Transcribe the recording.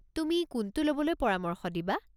তুমি কোনটো ল'বলৈ পৰামৰ্শ দিবা?